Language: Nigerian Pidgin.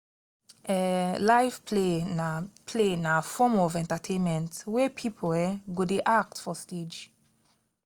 um live play na play na form of entertainment wey pipo um go de act for stage